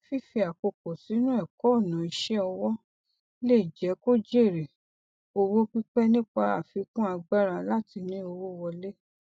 fífì àkókò sínú ẹkọ ọnà ìṣẹ ọwọ le jẹ kó jèrè owó pípẹ nípa àfikún agbára láti ní owó wọlé